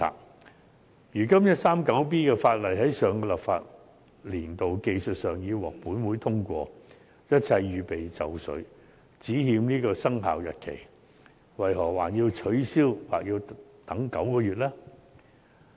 第 139B 章在上個立法年度技術上已獲本會通過，一切已經準備就緒，只欠生效日期，為何還要取消或等9個月呢？